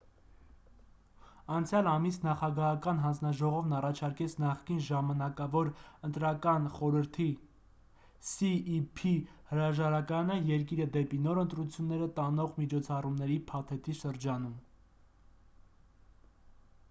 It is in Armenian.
անցյալ ամիս նախագահական հանձնաժողովն առաջարկեց նախկին ժամանակավոր ընտրական խորհրդի cep հրաժարականը՝ երկիրը դեպի նոր ընտրությունները տանող միջոցառումների փաթեթի շրջանակում: